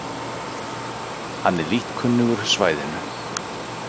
Hann er lítt kunnugur svæðinu